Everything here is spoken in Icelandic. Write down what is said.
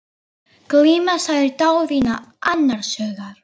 Glíma, sagði Daðína annars hugar.